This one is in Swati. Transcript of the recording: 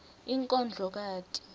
inkondlokati